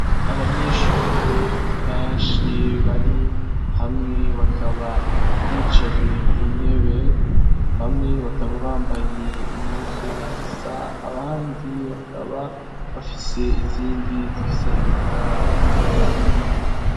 Abanyeshure benshi bari hamwe bakaba bicaye ku ntebe bamwe bakaba bambaye impuzu zisa abandi bakaba bafise izindi zifise amabara atandukanye.